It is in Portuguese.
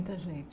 Muita gente.